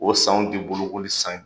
O sanw tɛ bolokoli san ye